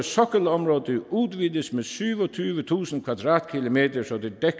sokkelområde udvides med syvogtyvetusind kvadratkilometer så det